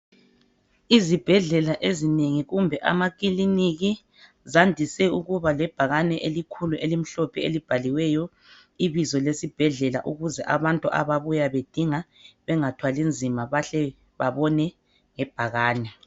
Izibhedlela ezinengi kumbe amakiliniki zandise ukuba lebhakane elikhulu elimhlophe elibhaliweyo ibizo lesibhedlela ukuze abantu ababuya bedinga bengathwali nzima bahle bebone ngebhakane.